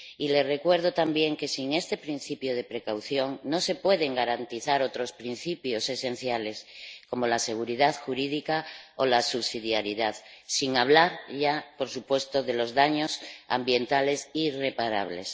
Les recuerdo también que, sin ese principio de precaución, no se pueden garantizar otros principios esenciales como la seguridad jurídica o la subsidiaridad, sin hablar por supuesto de los daños ambientales irreparables.